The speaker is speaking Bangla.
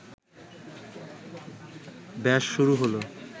ব্যস শুরু হলো